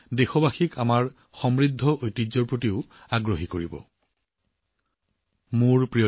ইয়াৰ দ্বাৰা আমাৰ চহকী ঐতিহ্যৰ প্ৰতি দেশবাসীৰ মোহ আৰু অধিক গভীৰ হব